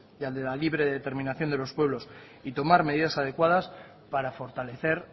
y al de la libre determinación de los pueblos y tomar medidas adecuadas para fortalecer